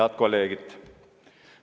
Head kolleegid!